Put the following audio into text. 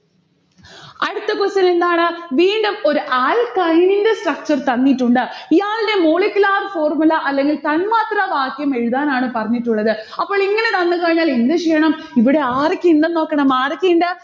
അടുത്ത question എന്താണ്? വീണ്ടും ഒരു alkyne ന്റെ structure തന്നിട്ടുണ്ട്. ഇയാൾടെ molecular formula അല്ലെങ്കിൽ തന്മാത്രവാക്യം എഴുതാനാണ് പറഞ്ഞിട്ടുള്ളത്. അപ്പോളിങ്ങനെ തന്നുകഴിഞ്ഞാൽ എന്ത് ചെയ്യണം? ഇവിടെ ആരൊക്കെയിണ്ടെന്ന് നോക്കണം, ആരൊക്കെയിണ്ട്